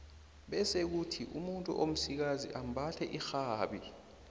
bese kuthi umuntu omsikazi ambathe irhabi